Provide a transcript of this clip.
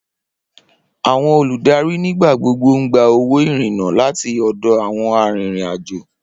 Awọn oludari nigbagbogbo n gba owo irinna lati ọdọ awọn arinrin-ajo.